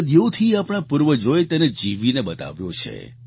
સદીઓથી આપણા પૂર્વજોએ તેને જીવીને બતાવ્યો છે